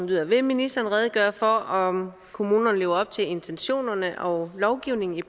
lyder vil ministeren redegøre for om kommunerne lever op til intentionerne og lovgivningen i